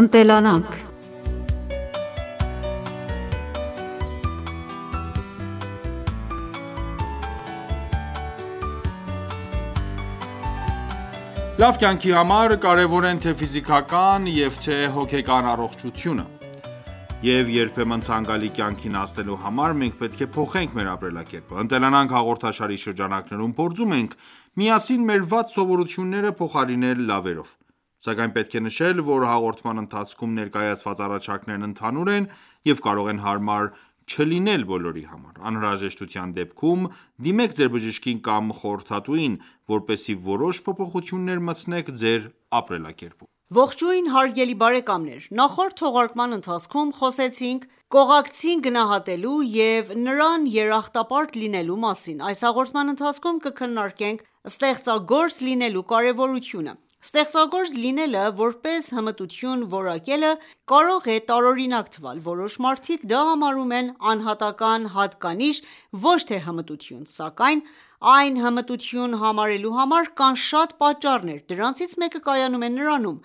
Ընտելանանք Լավ կյանքի համար կարևոր են թե՛ ֆիզիկական և թե՛ հոգեկան առողջությունը: Եվ երբեմն ցանկալի կյանքին հասնելու համար մենք պետք է փոխենք մեր ապրելակերպը:«Ընտելանանք» հաղորդաշարի շրջանակներում փորձում ենք միասին մեր վատ սովորությունները փոխարինել լավերով: Սակայն պետք է նշել, որ hաղորդման ընթացքում ներկայացված առաջարկներն ընդհանուր են և կարող են հարմար չլինել բոլորի համար: Անհրաժեշտության դեպքում դիմեք ձեր բժշկին կամ խորհրդատուին, որպեսզի որոշ փոփոխություններ մտցնեք ձեր ապրելակերպում: Ողջույն հարգելի բարեկամներ: Նախորդ թողարկման ընթացքում խոսեցինք կողակցին գնահատելու և նրան երախտապարտ լինելու մասին: Այս հաղորդման ընթացքում կքննարկենք ստեղծագործ լինելու կարևորությունը: Ստեղծագործ լինելը որպես հմտություն որակելը կարող է տարօրինակ թվալ: Որոշ մարդիկ դա համարում են անհատական հատկանիշ ոչ թե հմտություն: Սակայն այն հմտություն համարելու համար կան շատ պատճառներ: Դրանցից մեկը կայանում է նրանում,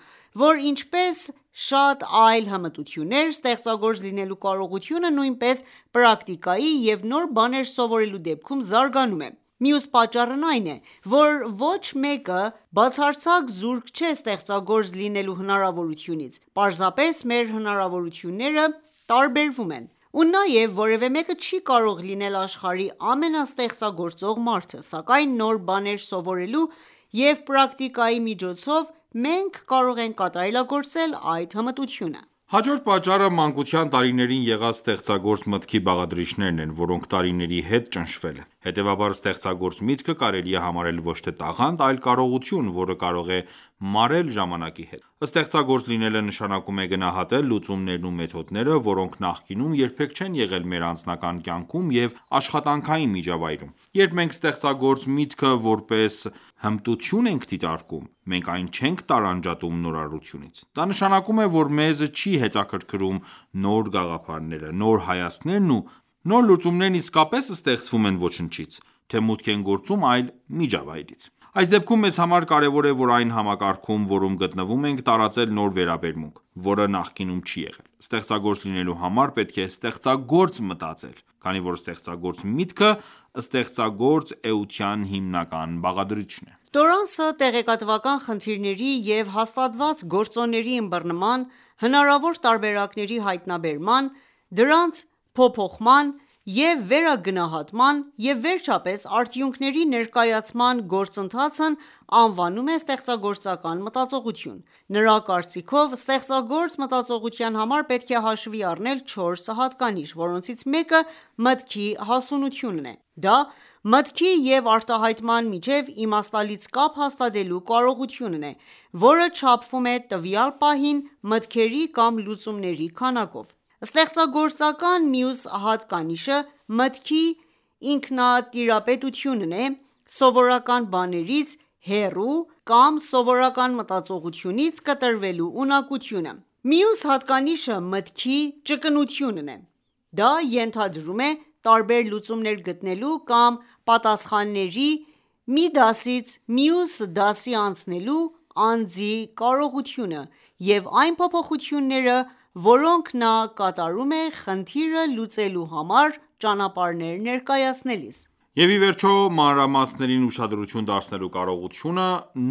որ ինչպես շատ այլ հմտություններ, ստեղծագործ լինելու կարողությունը նույնպես պրակտիկայի և նոր բաներ սովորելու դեպքում զարգանում է: Մյուս պատճառն այն է, որ ոչ մեկը բացարձակ զուրկ չէ ստեղծագործ լինելու հնարավորությունից: պարզապես մեր հնարավորությունները տարբերվում են: Ու նաև որևէ մեկը չի կարող լինել աշխարհի ամենաստեղծագործ մարդը: Սակայն նոր բաներ սովորելով և պրակտիկայի միջոցով մենք կարող ենք կատարելագործել այդ հմտությունը: Հաջորդ պատճառը մանկության տարիներին եղած ստեղծագործ մտքի բաղադրիչներն են, որոնք տարիների հետ ճնշվել են: Հետևաբար ստեղծագործ միքտը կարելի է համարել ոչ թե տաղանդ, այլ կարողություն, որը կարող է մարել ժամանակի հետ: Ստեղծագործ լինել նշանակում է գնահատել լուծումներն ու մեթոդները, որոնք նախկինում երբեք չեն եղել մեր անձնական կյանքում և աշխատանքային միջավայրում: Երբ մենք ստեղծագործ միտքը որպես հմտություն ենք դիտարկում, մենք այն չենք տարանջատում նորարարությունից: Դա նշանակում է, որ մեզ չի հետաքրքրում՝ նոր գաղափարները, նոր հայացքներն ու նոր լուծումներն իսկապես ստեղծվո՞ւմ են ոչնչից, թե մուտք են գործում այլ միջավայրից։ Այս դեպքում մեզ համար կարևոր է որ այն համակարգում, որում գտնվում ենք, տարածել նոր վերաբերմունք, որը նախկինում չի եղել: Ստեղծագործ լինելու համար պետք է ստեղծագործ մտածել, քանի որ ստեղծագործ միտքը ստեղծագործ էության հիմնական բաղադրիչն է: Տորանսը տեղեկատվական խնդիրների և հաստատված գործոնների ըմբռնման, հնարավոր տարբերակների հայտնաբերման, դրանց փոփոխման և վերագնահատման և վերջապես արդյունքների ներկայացման գործընթացն անվանում է ստեղծագործական մտածողություն։ Նրա կարծիքով՝ ստեղծագործ մտածողության համար պետք է հաշվի առնել չորս հատկանիշ, որոնցից մեկը մտքի հասունությունն է: Դա մտքի և արտահայտման միջև իմաստալից կապ հաստատելու կարողությունն է, որը չափվում է տվյալ պահին մտքերի կամ լուծումների քանակով: Ստեղծագործականության մյուս հատկանիշը մտքի ինքնատիպությունն է՝ սովորական բաներից հեռու կամ սովորական մտածողությունից կտրվելու ունակությունը: Մյուս հատկանիշը մտքի ճկունությունն է: Դա ենթադրում է տարբեր լուծումներ գտնելու կամ պատասխանների մի դասից մյուս դասի անցնելու անձի կարողությունը և այն փոփոխությունները, որոնք նա կատարում է խնդիր լուծելու համար ճանապարհներ ներկայացնելիս: Եվ ի վերջո մանրամասներին ուշադրություն դարձնելու կարողությունը,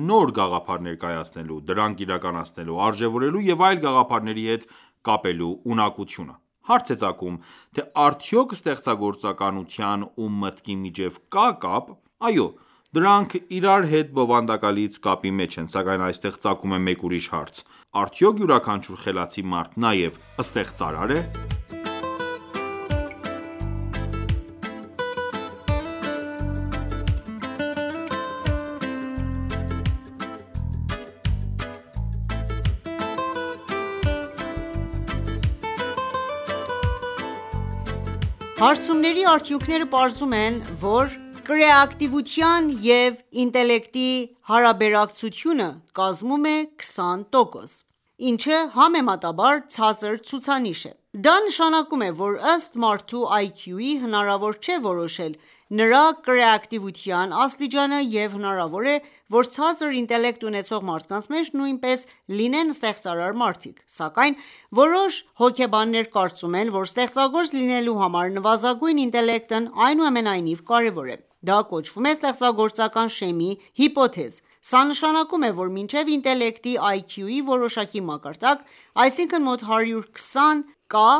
նոր գաղափար ներկայացնելու, դրանք իրականացնելու, արժևորելու և այլ գաղափարների հետ կապելու ունակությունը: Հարց է ծագում թե արյդոք ստեղծագործականության ու մտքի միջև կա՞ կապ: Այո, դրանք իրար հետ բովանդակալից կապի մեջ են, սակայն այստեղ ծագում է մեկ ուրիշ հարց: Արդյոք յուրաքանչյուր խելացի մարդ նաև ստեղծարա՞ր է: Հարցումների արդյունքները պարզում են, որ կրեատիվության և ինտելեկտի հարաբերակցությունը կազմում է 20 տոկոս, ինչը համեմատաբար ցածր ցուցանիշ է: Դա նշանակում է, որ ըստ մարդու IQ-ի հնարավոր չէ որոշել նրա կրեատիվության աստիճանը և հնարավոր է որ ցածր ինտելեկտ ունեցող մարդկանց մեջ նույնպես լինեն ստեղծարար մարդիկ: Սակայն որոշ հոգեբաններ կարծում են, որ ստեղծագործ լինելու համար նվազագույն ինտելեկտն այնուամենայնիվ կարևոր է: Դա կոչվում է ստեղծագործական շեմի հիպոթեզ: Սա նշանակում է, որ մինչև ինտելեկտի որոշակի մակարդակ, այսինքն՝ մոտ 120 կա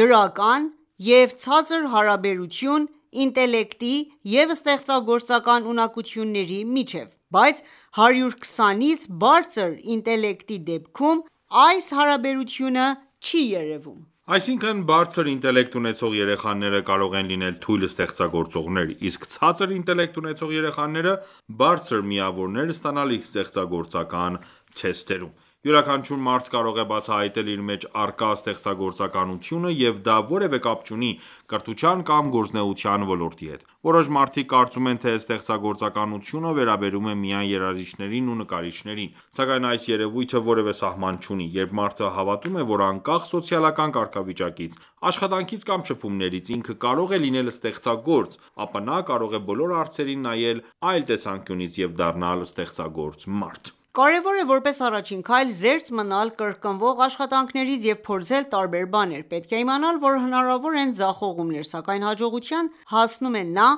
դրական և ցածր հարաբերություն ինտելեկտի և ստեղծագործական ունակությունների միջև, բայց 120-ից բարձր ինտելեկտի դեպքում այս հարաբերակցությունը չի երևում: Այսինքն բարձր ինտելեկտ ունեցող երեխաները կարող են լինել թույլ ստեղծագործողներ, իսկ ցածր ինետելկտ ունեցող երեխաները բարձր միավորներ ստանալ ստեղծագորական թեստերում: Յուրաքանչյուր մարդ կարող է բացահայտել իր մեջ առկա ստեղծագործականությունը և դա որևէ կապ չունի կրթության կամ գործունեության ոլորտի հետ: Որոշ մարդիկ կարծում են թե ստեղծագործականությունը վերաբերում է միայն երաժիշտներին ու նկարիչներին: Սակայն այս երևույթը որևէ սահման չունի: Երբ մարդը հավատում է, որ անկախ սոցիալական կարգավիճակից, աշխատնքից կամ շփումներից ինքը կարող է լինել ստեղծագործ, ապա նա կարող է բոլոր հարցերին նայել այլ տեսանկյունից և դառնալ ստեղծագործ մարդ: Կարևոր է որրպես առաջին քայլ զերծ մնալ կրկնվող աշխատանքներից և փորձել տարբեր բաներ: Պետք է իմանալ որ հնարավոր են ձախողումներ, սակայն հաջողության հասնում է նա,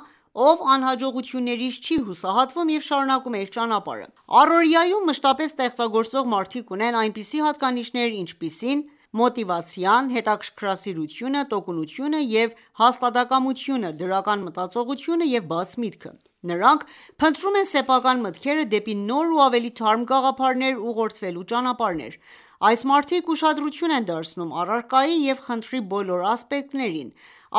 ով անհաջողություններից չի հուսահատվում և շարունակում է իր ճանապարհը: Առօրյայում մշտապես ստեղծագործող մարդիկ ունեն այնպիսի հատկանիշներ, ինչպես մոտիվացիան, հետաքրքրասիրությունը, տոկունությունը և հաստատակամությունը, դրական մտածողությունը և բաց միտքը: Նրանք փնտրում են սեփական մտքերը դեպի նոր ու ավելի թարմ գաղափարներ ուղղորդելու ճանապարհներ: Այս մարդիկ ուշադրություն են դարձնում առարկայի և խնդրի բոլոր ասպեկտներին,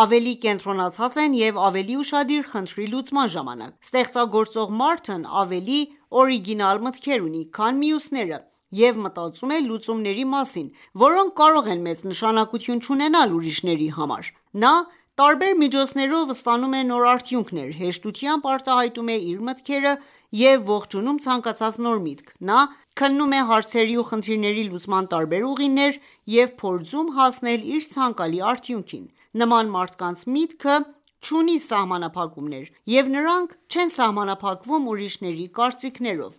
ավելի կենտրոնացած են և ավելի ուշադիր՝ խնդրի լուծման ժամանակ: Ստեղծագործող մարդն ավելի օրիգինալ մտքեր ունի, քան մյուսները և մտածում է լուծումների մասին, որոնք կարող են մեծ նշանակություն չունենալ ուրիշների համար։ Նա տարբեր միջոցներով ստանում է նոր արդյունքներ, հեշտությամբ արտահայտում է իր մտքերը և ողջունում ցանկացած նոր միտք: Նա քննում է հարցերի ու խնդիրների լուծման տարբեր ուղիներ և փորձում հասնել իր ցանկալի արդյունքին։ Նման մարդկանց միտքը չունի սահմանափակումներ ու նրանք չեն սահամանփակվում ուրիշների կարծիքներով: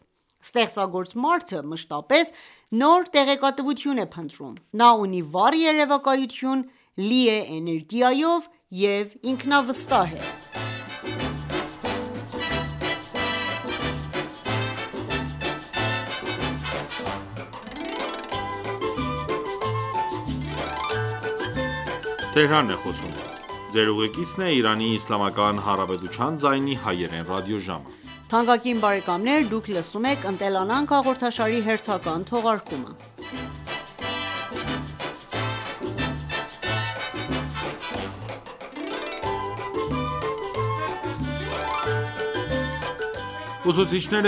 Ստեղծագործ մարդը մշտապես նոր տեղեկատվություն է փնտրում: Նա ունի վառ երևակայություն, լի է էներգիայով և ինքնավստահ է: Ուսուցիչները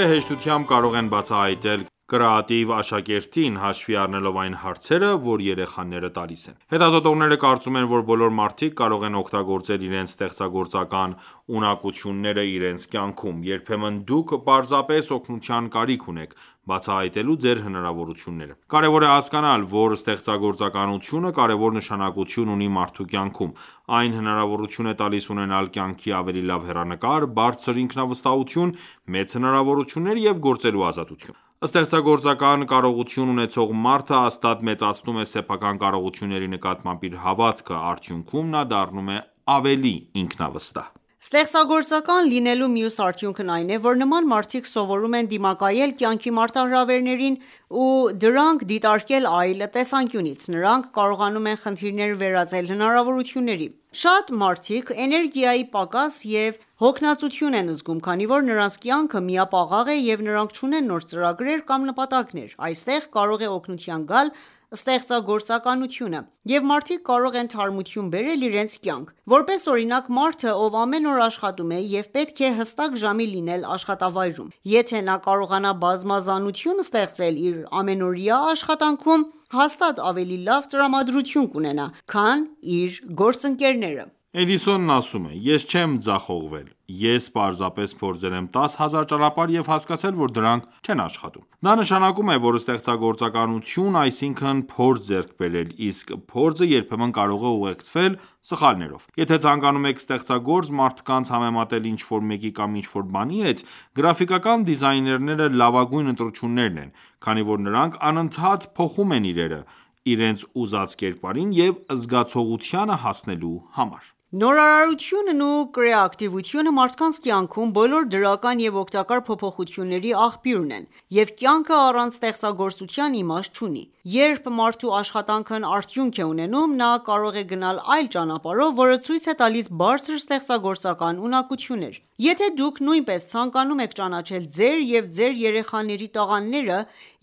հեշտությամբ կարող են բացահայտել կրեատիվ աշակերտին, հաշվի առնելով այն հարցերը, որ երեխաները տալիս են: Հետազոտողները կարծում են, որ բոլոր մարդիկ կարող են օգտագործել իրենց ստեղծագործական ունակությունները իրենց կյանքում: Երբեմն դուք պարզապես օգնության կարիք ունեք՝ բացահայտելու ձեր հնարավորությունները: Կարևոր է հասկանալ, որ ստեղծագործականությունը կարևոր նշանակություն ունի մարդու կյանքում: Այն հնարավորություն է տալիս ունենալ կյանքի ավելի լավ հեռանկար, բարձր ինքնավստահություն, մեծ հնարավորություններ և գործելու ազատություն: Ստեղծագործական կարողություն ունեցող մարդը հաստատ մեծացնում է սեփական կարողությունների նկատմամբ իր հավատքը: Արդյունքում նա դառնում է ավելի ինքնավստահ: Ստեղծագործական լինելու մյուս արդյունքն այն է, որ նման մարդիկ սովորում են դիմակայել կյանքի մարտահրավեներին ու դրանք դիտարկել այլ տեսանկյունից: Նրանք կարողանում են խնդիրները վերածել հնարավորությունների: Շատ մարդիկ էներգիայի պակաս և հոգնածություն են զգում, քանի որ նրանց կյանքը միապաղաղ է և նրանք չունեն նոր ծրագրեր կամ նպատակներ: Այստեղ կարող է օգնության գալ ստեղծագործականությունը և մարդիկ կարող են թարմություն բերել իրենց կյանք: Որպես օրինակ, մարդը, ով ամեն օր աշխատում է և պետք է հստակ ժամին լինի աշխատավայրում: Եթե նա կարողանա բազմազանություն ստեղծել իր ամենօրյա աշխատանքում, հաստատ ավելի լավ տրամադրություն կունենա, քան իր գործընկերները: Էդիսոնն ասում է. «Ես չեմ ձախողվել: Ես պարզապես փորձել եմ 10 հազար ճանապարհ և հասկացել, որ դրանք չեն աշխատում»: Դա նշանակում է, որ ստեղծագործականություն այսինքն՝ փորձ ձեռք բերել, իսկ փորձը երբեմն կարող է ուղեկցվել սխալներով: Եթե ցանկանում եք ստեղծագործ մարդկանց համեմատել ինչ-որ մեկի կամ ինչ-որ բանի հետ, գրաֆիկական դիզայներները լավագույն ընտրությունն են, քանի որ նրանք անընդհատ փոխում են իրերը՝ իրենց ուզած կերպարին և զգացողությանը հասնելու համար: Նորարարությունն ու կրեատիվությունը մարդկանց կյանքում բոլոր դրական և օգտակար փոփոխությունների աղբյուրն են, և կյանքը առանց ստեղծագործության իմաստ չունի: Երբ մարդու աշխատանքն արդյունք է ունենում, նա կարող է գնալ այլ ճանապարհով, որը ցույց է տալիս բարձր ստեղծագործական ունակություններ: Եթե դուք նույնպես ցանկանում եք ճանաչել ձեր և ձեր երեխաների տաղանդները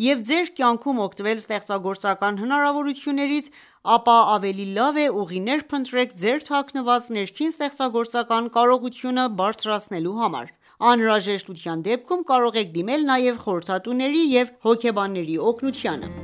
և ձեր կայնքում օգտվել ստեղծագործական հնարավորություններից, ապա ավելի լավ է ուղիներ փնտրեք ձեր թաքնված ներքին ստեղծագործական կարողությունը բարձրացնելու համար: Անհրաժեշտության դեպքում կարող եք դիմել նաև խորհրդատուների և հոգեբանների օգնությանը: